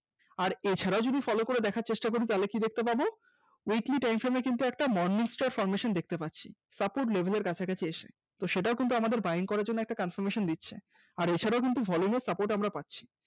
আর এছাড়াও যদি Follow করে দেখার চেষ্টা করি তাহলে কি দেখতে পাব weekly time frame এ কিন্তু একটা Morning star formation দেখতে পাচ্ছি support level এর কাছাকাছি এসে সেটাও কিন্তু আমাদেরকে Buying করার জন্য একটা confirmation দিচ্ছে, আর এছাড়াও কিন্তু volume এ support আমরা পাচ্ছি